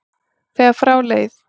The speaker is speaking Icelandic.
þegar frá leið.